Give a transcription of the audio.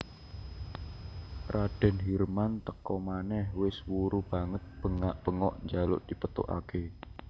Raden Hirman teka manèh wis wuru banget bengak bengok njaluk dipethokaké